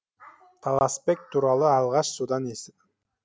таласбек туралы алғаш содан естідім